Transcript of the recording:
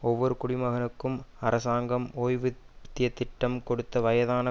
ஒவ்வொரு குடிமகனுக்கும் அரசாங்கம் ஓய்வூத்தியத்திட்டம் கொடுத்து வயதான